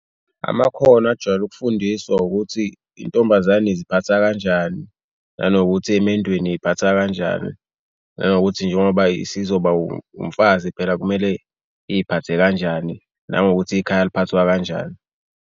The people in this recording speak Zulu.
Amakhono ajwayele ukufundiswa ukuthi intombazane iziphatha kanjani nanokuthi emendweni iziphatha kanjani nanokuthi njengoba isizoba umfazi phela kumele iziphathe kanjani nangokuthi ikhaya liphathwa kanjani.